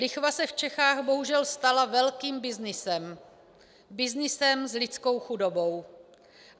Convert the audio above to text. Lichva se v Čechách bohužel stala velkým byznysem, byznysem s lidskou chudobou.